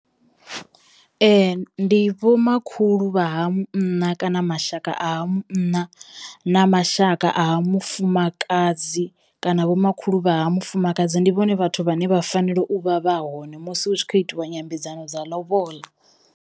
Ndi vho makhulu vha ha munna kana mashaka a ha munna na mashaka a ha mufumakadzi kana vho makhulu vha ha mufumakadzi ndi vhone vhathu vhane vha fanela u vha vha hone musi hu tshi khou itiwa nyambedzano dza ḽoboḽa.